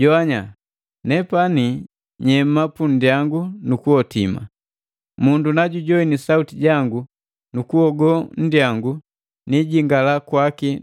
Jowanya! Nepani nyema punndyangu nu kuhotima. Mundu na jujowini sauti jangu nu kuhogo nndyangu, niijingala kwaki